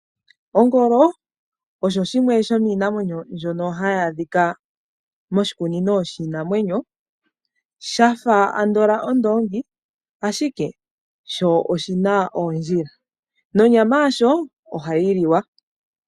Ongolo osho shimwe shominamwenyo mbyono hayi adhika moshikunino shiinamwenyo, shafa andola Oondongi ashike osho oshina ondjila, nonyama yasho ohayi liwa.